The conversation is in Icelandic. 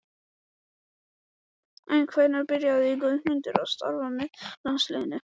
En hvenær byrjaði Guðmundur að starfa með landsliðinu?